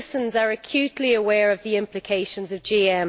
Citizens are acutely aware of the implications of GM.